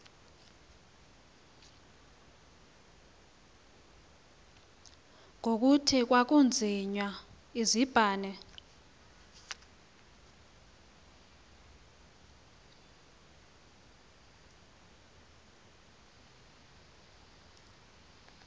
ngokuthi kwakucinywa izibane